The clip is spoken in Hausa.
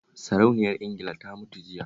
Sarauniyar Ingila ta mutu jiya